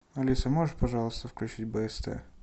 алиса можешь пожалуйста включить бст